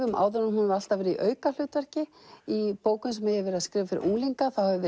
um áður en hún hefur alltaf verið í aukahlutverki í bókum sem ég hef verið að skrifa fyrir unglinga hefur